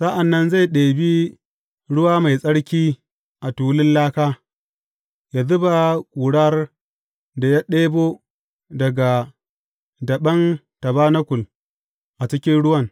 Sa’an nan zai ɗebi ruwa mai tsarki a tulun laka, yă zuba ƙurar da ya ɗebo daga daɓen tabanakul a cikin ruwan.